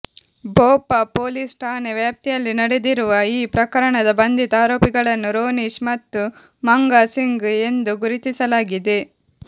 Bhopa police ಠಾಣೆ ವ್ಯಾಪ್ತಿಯಲ್ಲಿ ನಡೆದಿರುವ ಈ ಪ್ರಕರಣದ ಬಂಧಿತ ಆರೋಪಿಗಳನ್ನು ರೋನಿಶ್ ಮತ್ತು ಮಂಗಾ ಸಿಂಗ್ ಎಂದು ಗುರುತಿಸಲಾಗಿದೆ